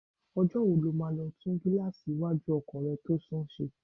Ọjọ́ wo lọ máa lọ tún gíláàsì iwájú ọkọ̀ rẹ tó sán ṣe?